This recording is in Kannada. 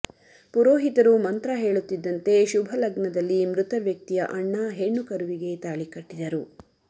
ಪುರೋಹಿತರು ಮಂತ್ರ ಹೇಳುತಿದ್ದಂತೆ ಶುಭ ಲಗ್ನದಲ್ಲಿ ಮೃತ ವ್ಯಕ್ತಿಯ ಅಣ್ಣ ಹೆಣ್ಣು ಕರುವಿಗೆ ತಾಳಿ ಕಟ್ಟಿದರು